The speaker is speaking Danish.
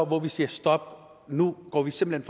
hvor vi siger stop nu går vi simpelt